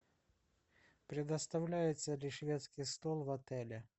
предоставляется ли шведский стол в отеле